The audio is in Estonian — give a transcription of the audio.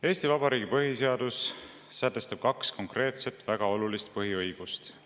Eesti Vabariigi põhiseadus sätestab kaks konkreetset, väga olulist põhiõigust.